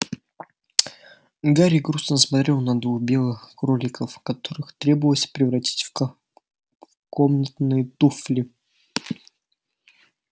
гарри грустно смотрел на двух белых кроликов которых требовалось превратить в комнатные туфли